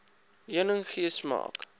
heuning gee smaak